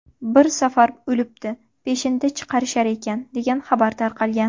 Bir safar o‘libdi, peshinda chiqarishar ekan, degan xabar tarqalgan.